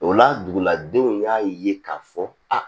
O la duguladenw y'a ye k'a fɔ a